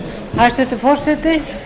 hæstvirtur forseti